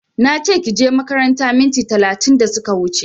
Nache kije makaranta minti talatin da suka wuche